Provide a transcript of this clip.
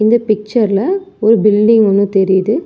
இந்த பிச்சர் ல ஒரு பில்டிங் ஒன்னு தெரியுது.